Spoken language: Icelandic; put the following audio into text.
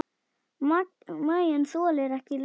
Maginn þolir ekki lengur bið.